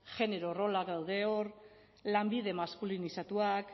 genero rolak daude hor lanbide maskulinizatuak